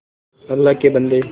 अल्लाह के बन्दे